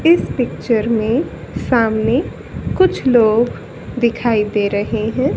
इस पिक्चर में सामने कुछ लोग दिखाई दे रहे हैं।